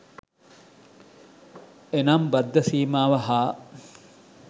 එනම් බද්ධ සීමාව හා